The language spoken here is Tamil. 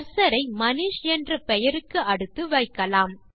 கர்சர் ஐ மனிஷ் என்ற பெயருக்கு அடுத்து வைக்கலாம்